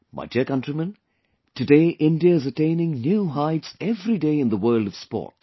My dear countrymen, today India is attaining new heights every day in the world of sports